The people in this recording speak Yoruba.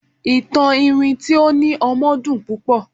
ìtàn iwin ti o ni ọmọ dun pupo